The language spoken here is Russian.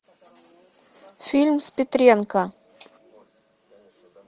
фильм с петренко